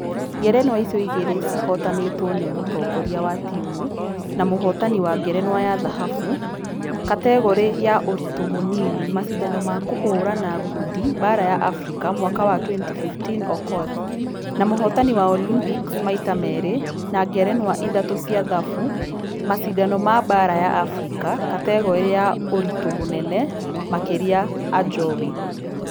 Ngerenwa icio igĩrĩ cihotanĩirwo nĩ mũtongoria wa timũ na mũhotani wa ngerenwa ya dhahabu kategore ya ũritũ mũnini mashidano ma kũhũrana ngundi baara ya africa mwaka wa 2015 okoth. Na mũhotani wa Olympics maita merĩ na ngerenwa ithatũ cia dhabu mashidano ma baara ya africa kategore ya ũritũ mũnene makĩria ajowi.